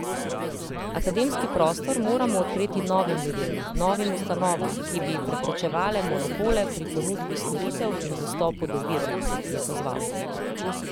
Akademski prostor moramo odpreti novim ljudem, novim ustanovam, ki bi preprečevale monopole pri ponudbi storitev in dostopu do virov, je pozval.